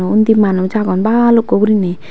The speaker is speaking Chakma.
undi manuj agon balukko guriney.